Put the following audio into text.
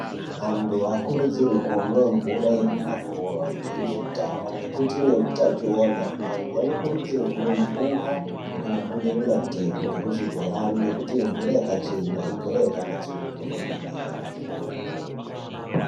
Antu aakurudzirwe kumwa mvura yemumakova nemuzvidhamu ngekuti ine hutachiona . Antu vanokurudzirwa kumwa mvura inobuda pamatepi ngekuzvibhorani ngekuti imvura yakachena imvura yakanatsurudzwa kwemene.